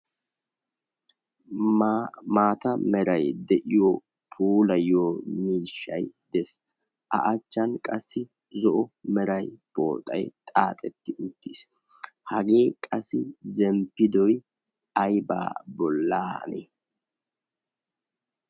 maata merai de7iyo poolayyo miishshai dees a achchan qassi zo7o merai pooxai xaaxetti uttiis hagee qassi zemppidoi aibaa bolaan